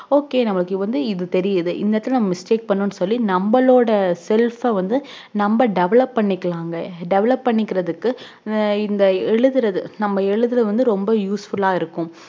ok நம்மளுக்கு வந்து இது தெரிது இந்த இடத்துல mistake பண்ணோம்னு சொல்லி நமளோட self அஹ் வந்து develop பண்ணிக்கலாம்ங் develop பண்ணிக்குரதுக்கு இந்த எழுதுறது நம்ம எழுதுறது ரொம்ப usefull ஆஹ் இருக்கும்